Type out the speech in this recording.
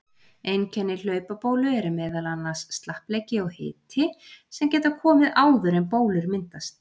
Einkenni hlaupabólu eru meðal annars slappleiki og hiti sem geta komið áður en bólur myndast.